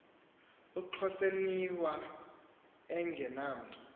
uxhoseniwafa enge namntu